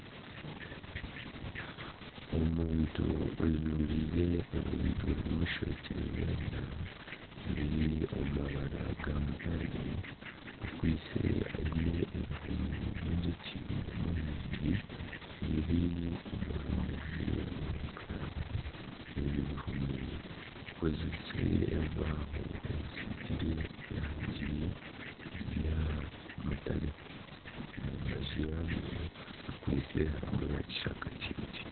Omuntu ajwire ebintu bimushwekire weena, biri omu mabara ga mutare, akwitse aine ebihumi by'enjoki nyamwingi, biri omu runyiriri, ebi bihumi bikozirwe omu bibaaho bisigirwe erangi ya mutare omu mbaju yabyo harimu ekishaka kiingi